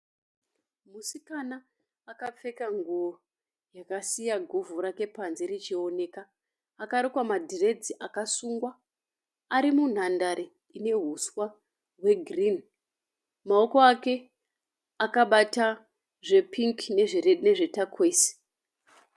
Musikana akapfeka nguwo yakasiya guvhu rake panze richioneka. Akarukwa madhiredzi akasungwa. Ari munhandare ine huswa hwegirini. Maoko ake akabata zvepingi nezve takwesi.